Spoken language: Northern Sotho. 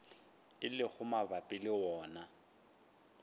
e lego mabapi le wona